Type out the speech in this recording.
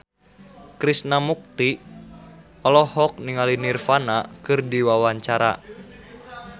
Krishna Mukti olohok ningali Nirvana keur diwawancara